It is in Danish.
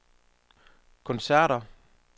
koncerter